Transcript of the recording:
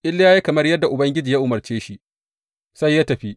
Iliya ya yi kamar yadda Ubangiji ya umarce shi, sai ya tafi.